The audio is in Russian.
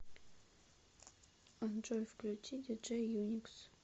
джой включи диджей юникс